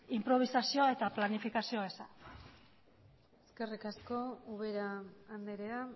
inprobisazioa eta planifikazioa eza eskerrik asko ubera andrea